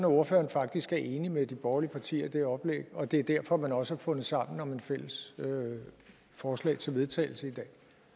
ordføreren faktisk er enig med de borgerlige partier i det oplæg og at det er derfor man også har fundet sammen om et fælles forslag til vedtagelse